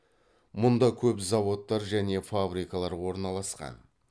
мұнда көп заводтар және фабрикалар орналасқан